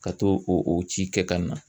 Ka t'o o o ci kɛ ka na